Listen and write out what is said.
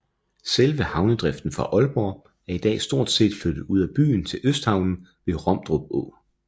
Selve havnedriften fra Aalborg er i dag stort set flyttet ud af byen til Østhavnen ved Romdrup Å